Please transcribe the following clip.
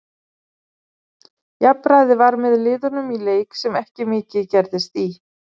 Jafnræði var með liðunum í leik sem ekki mikið gerðist í.